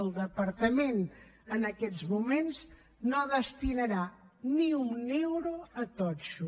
el departament en aquests moments no destinarà ni un euro a totxo